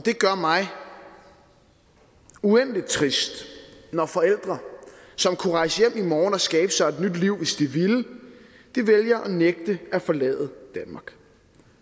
det gør mig uendelig trist når forældre som kunne rejse hjem i morgen og skabe sig et nyt liv hvis de ville vælger at nægte at forlade danmark